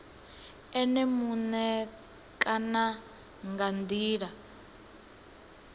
ene muṋe kana nga ndila